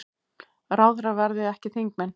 Ráðherrar verði ekki þingmenn